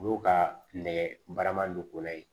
Olu ka nɛgɛ baaraman ko la yen